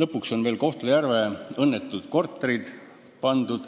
lõpuks veel Kohtla-Järve õnnetud korterid.